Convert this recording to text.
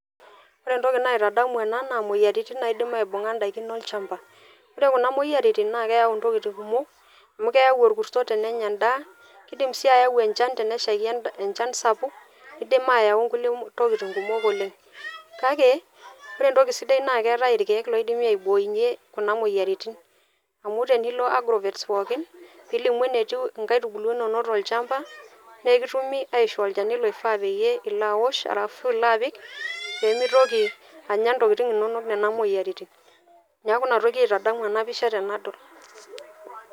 Ore entoki naitadamu ena, naa moyiaritin naidim aibung'a idaikin olchamba. Ore kuna moyiaritin, naa keeu intokiting kumok, amu keeu orkuso tenenya endaa, kidim si ayau enchan teneshaiki enchan sapuk, nidim ayau nkulie tokiting kumok oleng. Kake, ore entoki sidai na keetae irkeek loidimi aiboinye kuna moyiaritin. Amu tenilo agrovets pookin, pilimu enetiu inkaitubulu inonok tolchamba, nekitumi aishoo olchani loifaa peyie ilo awosh ashu ilo apik, pemitoki anya ntokiting inonok nena moyiaritin. Neeku inatoki aitadamu enapisha tenadol.